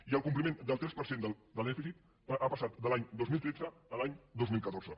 i el compliment del tres per cent de dèficit ha passat de l’any dos mil tretze a l’any dos mil catorze